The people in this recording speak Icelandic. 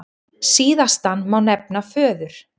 Síðastan má nefna föður